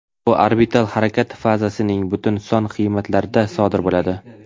Bu orbital harakat fazasining butun son qiymatlarida sodir bo‘ladi.